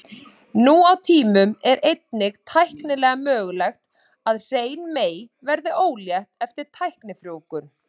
Nú á tímum er einnig tæknilega mögulegt að hrein mey verði ólétt eftir tæknifrjóvgun.